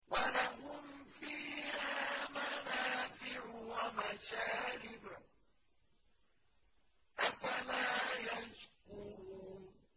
وَلَهُمْ فِيهَا مَنَافِعُ وَمَشَارِبُ ۖ أَفَلَا يَشْكُرُونَ